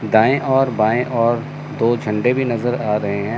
दाएं और बाएं और दो झंडे भी नजर आ रहे हैं।